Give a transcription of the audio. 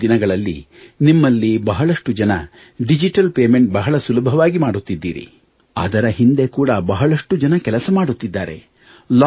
ಇಂದಿನ ದಿನಗಳಲ್ಲಿ ನಿಮ್ಮಲ್ಲಿ ಬಹಳಷ್ಟು ಜನ ಡಿಜಿಟಲ್ ಪೇಮೆಂಟ್ ಬಹಳ ಸುಲಭವಾಗಿ ಮಾಡುತ್ತಿದ್ದೀರಿ ಅದರ ಹಿಂದೆ ಕೂಡ ಬಹಳಷ್ಟು ಜನ ಕೆಲಸ ಮಾಡುತ್ತಿದ್ದಾರೆ